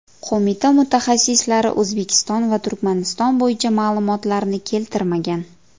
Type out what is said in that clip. Qo‘mita mutaxassislari O‘zbekiston va Turkmaniston bo‘yicha ma’lumotlarni keltirmagan.